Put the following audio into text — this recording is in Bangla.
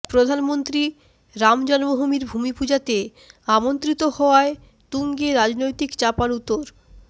প্রধানমন্ত্রী রাম জন্মভূমির ভূমিপুজাতে আমন্ত্রিত হওয়ায় তুঙ্গে রাজনৈতিক চাপানউতোর